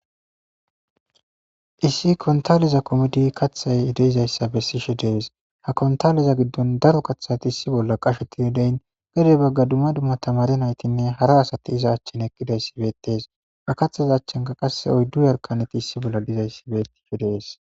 issi kontaleza komodi kathay edeyzayssa bessishe dees ha kontaleza giddon daro kathati issi bolla qasheti yodeyn gede bagga dumma dumma tamare naytinne hara asati iza achchen eqqidayssi beetees ba kathaza achchenka qasse oyddu yarkaneti issi bolla dizayssi beettishe dees